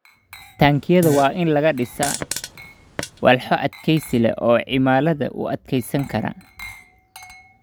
Taangiyada waa in laga dhisaa walxo adkeysi leh oo cimilada u adkeysan kara.